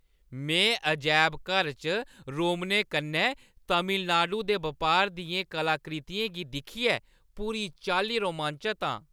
में अजैबघर च रोमनें कन्नै तमिलनाडु दे बपार दियें कलाकृतियें गी दिक्खियै पूरी चाल्ली रोमांचत आं।